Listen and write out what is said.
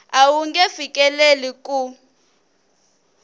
a wu nge fikeleli ku